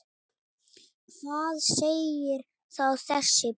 Hvað segir þá þessi bók?